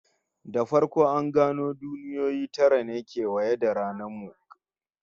Da farko an gano duniyoyi guda tara ne kewaye da ranar mu, kafin aka rage darajar d'aya suka dawo takwas